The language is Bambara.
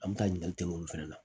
An bɛ taa ɲininkali kɛ olu fana la